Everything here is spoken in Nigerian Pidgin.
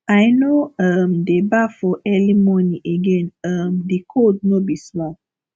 i no um dey baff for early morning again um di cold no be small